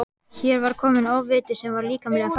Hér var kominn ofviti sem var líkamlega fatlaður.